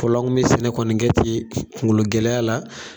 Fɔlɔ la, ani bɛ sɛnɛ kɔni kɛ ten kungolo gɛlɛyaya la.